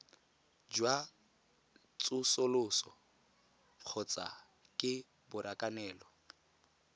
jwa tsosoloso kgotsa ke borakanelo